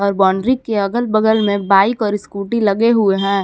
और बाउंड्री के अगल बगल में बाइक और स्कूटी लगे हुए हैं।